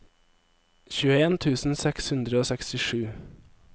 tjueen tusen seks hundre og sekstisju